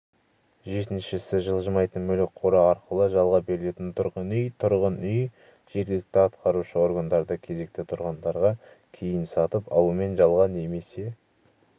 жетіншісі жылжымайтын мүлік қоры арқылы жалға берілетін тұрғын үй тұрғын үй жергілікті атқарушы органдарда кезекте тұрғандарға кейін сатып алумен жалға немесе